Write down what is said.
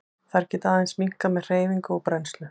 Þær geta aðeins minnkað með hreyfingu og brennslu.